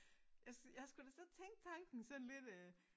Jeg jeg har sgu da siddet tænkt tanken sådan lidt øh